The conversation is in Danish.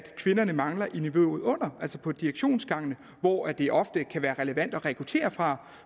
kvinderne mangler i niveauet under altså på direktionsgangene hvor det ofte kan være relevant at rekruttere fra